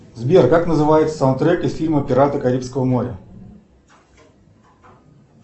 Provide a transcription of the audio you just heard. сбер как называется саундтрек из фильма пираты карибского моря